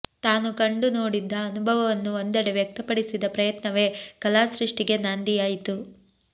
ತಾನು ಕಂಡು ನೋಡಿದ್ದ ಅನುಭವವನ್ನು ಒಂದೆಡೆ ವ್ಯಕ್ತಪಡಿಸಿದ ಪ್ರಯತ್ನವೇ ಕಲಾಸೃಷ್ಟಿಗೆ ನಾಂದಿಯಾಯಿತು